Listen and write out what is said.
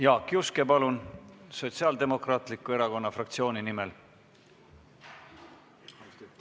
Jaak Juske, palun, Sotsiaaldemokraatliku Erakonna fraktsiooni nimel!